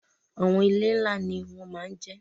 Àwọn ilé ńlá ni wọ́n ma ń jẹ́.